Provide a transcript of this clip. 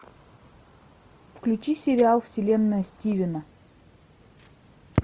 включи сериал вселенная стивена